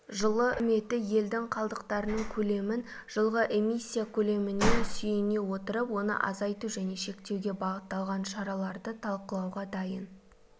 жылы үкіметі елдің қалдықтарының көлемін жылғы эмиссия көлеміне сүйене отырып оны азайту және шектеуге бағытталған шараларды талқылауға дайын